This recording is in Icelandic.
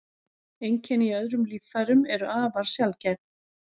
Einkenni í öðrum líffærum eru afar sjaldgæf.